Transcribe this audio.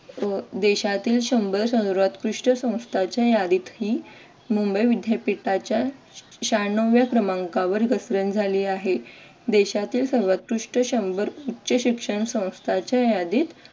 अह देशातील शंभर सर्वोत्कृष्ट संस्थांच्या यादीत ही मुंबई विद्यापीठाच्या शहान्नव व्या क्रमांकावर घसरण झाली आहे देशातील सर्वोत्कृष्ट शंभर उच्च शिक्षण संस्थांच्या यादीत